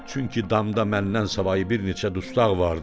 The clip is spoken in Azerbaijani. Çünki damda məndən savayı bir neçə dustaq vardı.